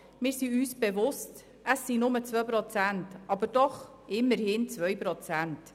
Wir sind uns bewusst, dass es nur 2 Prozent sind, aber es sind immerhin 2 Prozent.